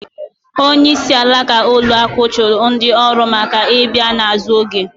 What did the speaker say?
Onyeisi alaka ụlọ akụ chụrụ ndị ọrụ maka ị bịa n’azụ oge